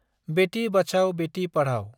बेथि बाचाव बेथि पाधाव